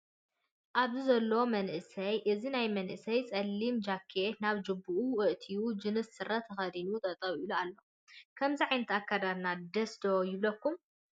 ኣብዚ ዘሎ መንእሰይ እዚ ናይ መእሰይ ፀሊም ተኼት ናብ ጅብኡ ኣእትዮ ጅንስ ስረ ተከዲኑ ጠጠው ኢሉ ኣሎ ። ከምዚ ዓይነት ኣከዳድና ደስ ዶ ይብለኩም?